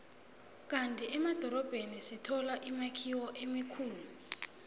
kandi emadorobheni sithola imakhiwo emikhulu